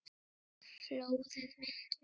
Flóðið mikla